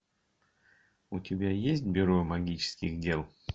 у тебя есть бюро магических дел